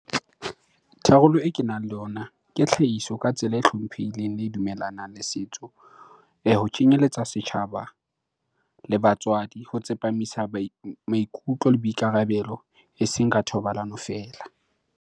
Tharollo e kenang le ona ke tlhahiso ka tsela e hlomphehileng le e dumellanang le setso. Ho kenyelletsa setjhaba le batswadi, ho tsepamisa maikutlo le boikarabelo eseng ka thobalano feela.